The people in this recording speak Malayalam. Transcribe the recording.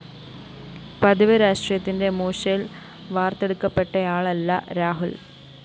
പതിവ് രാഷ്ട്രീയത്തിന്റെ മൂശയില്‍ വാര്‍ത്തെടുക്കപ്പെട്ടയാളല്ല രാഹുല്‍